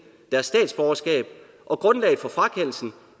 deres statsborgerskab og grundlaget for frakendelsen